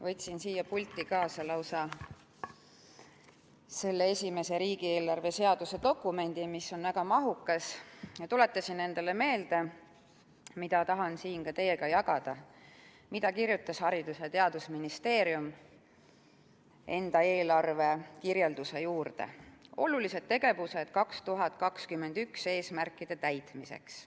Võtsin siia pulti kaasa lausa selle riigieelarve seaduse esimese dokumendi, mis on väga mahukas, ja tuletasin endale meelde , mida kirjutas Haridus- ja Teadusministeerium enda eelarve kirjelduse juurde: "Olulised tegevused 2021 eesmärkide täitmiseks.